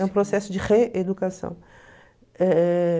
É um processo de reeducação.